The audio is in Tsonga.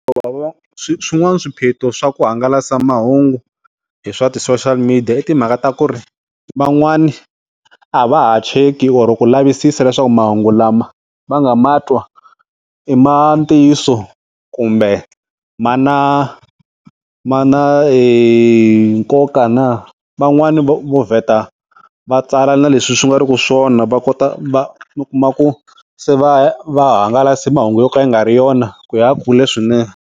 Hikuva swin'wana swiphiqo swa ku hangalasa mahungu hi swa ti-social media i timhaka ta ku ri van'wana a va ha cheki kumbe ku lavisisa leswaku mahungu lama va nga matwa i ma ntiyiso kumbe mana na mana nkoka na, van'wani vo vheta va tsala na leswi swi nga ri ku swona va kota va kuma ku se va va hangalasa mahungu yo ka ya nga ri yona ku ya kule swinene.